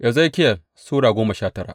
Ezekiyel Sura goma sha tara